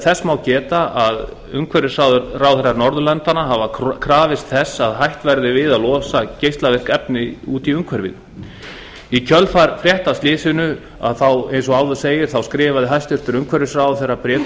þess má geta að umhverfisráðherrar norðurlandanna hafa krafist þess að hætt verði við að losa geislavirk efni út í umhverfið í kjölfar frétta af slysinu eins og áður segir skrifaði umhverfisráðherra bréf til